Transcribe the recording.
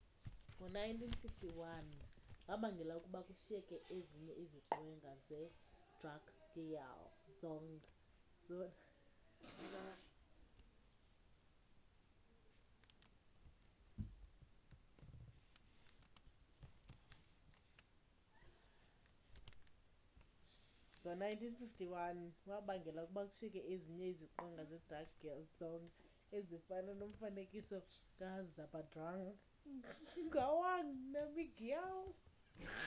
ngo-1951 wabangela ukuba kushiyeke ezinye iziqwenga zedrukgyal dzong zona ezifana nomfanekiso kazhabdrung ngawang namgyal